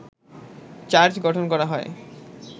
charge গঠন করা হয়